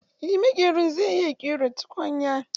Eh maƙerin zai iya ƙera tukunya.